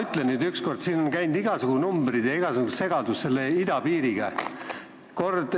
Siin on seoses idapiiriga läbi käinud igasugused numbrid, asi on päris segane.